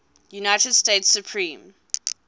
united states supreme